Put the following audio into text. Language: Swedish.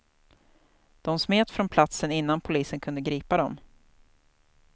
De smet från platsen innan polisen kunde gripa dem.